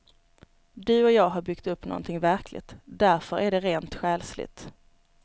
Du och jag har byggt upp någonting verkligt, därför att det är rent själsligt.